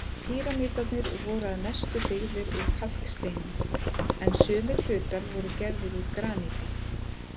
Píramídarnir voru að mestu byggðir úr kalksteini, en sumir hlutar voru gerðir úr graníti.